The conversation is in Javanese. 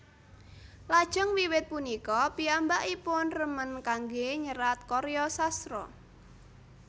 Lajeng wiwit punika piyambakipun remen kanggé nyerat karya sastra